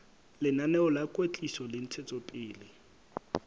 lenaneo la kwetliso le ntshetsopele